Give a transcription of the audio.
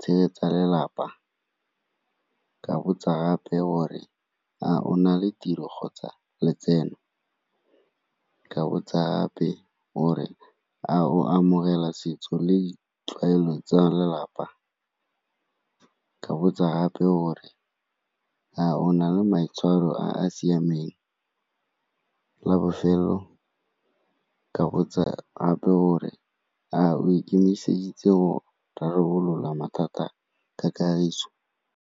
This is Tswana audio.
tshegetsa lelapa? Ke a botsa gape gore, a o na le tiro kgotsa letseno? Ka botsa gape gore, a o amogela setso le ditlwaelo tsa lelapa? Ke a botsa gape gore, a ona le maitshwaro a a siameng? La bofelo ka botsa gape gore, a o ikemiseditse go rarabolola mathata ka kagiso?